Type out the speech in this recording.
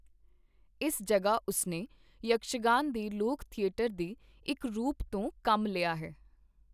ਇਸ ਜਗ੍ਹਾ ਉਸਨੇ ਯਕਸ਼ਗਾਨ ਦੇ ਲੋਕ ਥੀਏਟਰ ਦੇ ਇੱਕ ਰੂਪ ਤੋਂ ਕੰਮ ਲਿਆ ਹੈ।